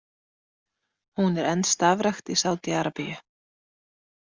Hún er enn starfrækt í Sádí-Arabíu.